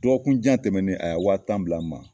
Dɔgɔkunjan tɛmɛnen a ya wa tan bila n ma.